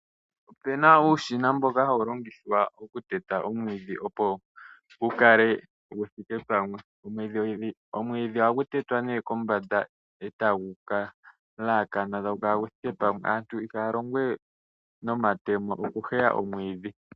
Opu na uushina mboka hawu longithwa okuteta omwiidhi opo gu kale gu thike pamwe, omwiidhi ohagu tetwa kombanda e tagu yelekana e tagu kala gu thike pamwe. Aantu ihaya longo we nomatemo okuheya omwiidhi.